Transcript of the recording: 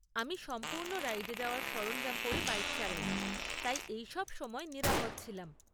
আমি সম্পূর্ণ রাইডে যাওয়ার সরঞ্জম পরে বাইক চালাই, তাই এই সব সময়ে নিরাপদ ছিলাম।